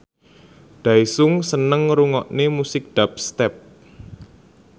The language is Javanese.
Daesung seneng ngrungokne musik dubstep